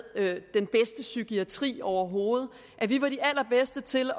den bedste psykiatri overhovedet at vi var de allerbedste til